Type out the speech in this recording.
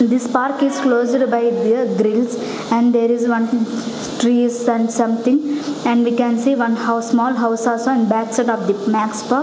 this park is closed by the grills and there is one trees and something and we can see one house small house also in backside of the max pa --